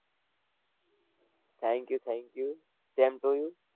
Thank you thank you, same to you